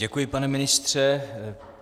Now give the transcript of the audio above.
Děkuji, pane ministře.